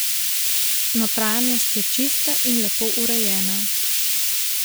Notranjost je čista in lepo urejena.